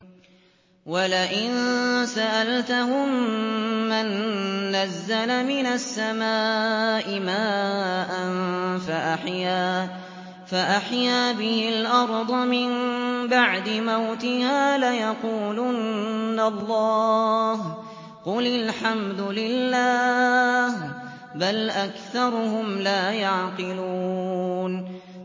وَلَئِن سَأَلْتَهُم مَّن نَّزَّلَ مِنَ السَّمَاءِ مَاءً فَأَحْيَا بِهِ الْأَرْضَ مِن بَعْدِ مَوْتِهَا لَيَقُولُنَّ اللَّهُ ۚ قُلِ الْحَمْدُ لِلَّهِ ۚ بَلْ أَكْثَرُهُمْ لَا يَعْقِلُونَ